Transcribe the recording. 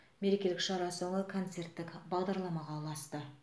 мерекелік шара соңы концерттік бағдарламаға ұласты